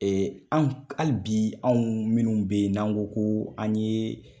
Ɛɛ an ke hali bi anw minnu be yen n'an go ko an ye